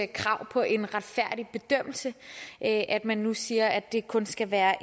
krav på en retfærdig bedømmelse at man nu siger at det kun skal være